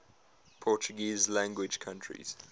portuguese language countries